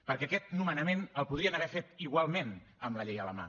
perquè aquest nomenament el podrien haver fet igualment amb la llei a la mà